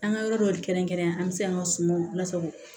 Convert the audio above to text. An ka yɔrɔ dɔ kɛrɛnkɛrɛnnenya an bɛ se an ka sumanw lasago